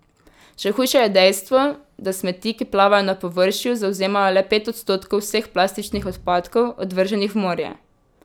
Še hujše je dejstvo, da smeti, ki plavajo na površju, zavzemajo le pet odstotkov vseh plastičnih odpadkov, odvrženih v morje.